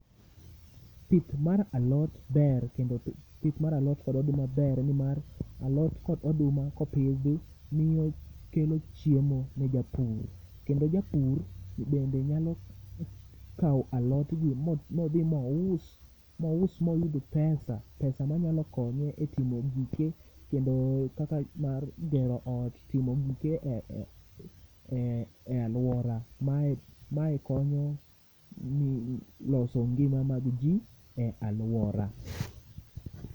pith mar alot ber kendo pith mar alot kod oduma ber ni mar alot kod oduma kopidhi miyo kelo chiemo ne japur, kendo japur bende nyalo kao alot gi modhi mous, mous moyudo pesa, pesa ma nyalo konye e timo gike kendo kaka mar gero ot timo gike e aluora, mae konyo e loso ngima mag ji e aluora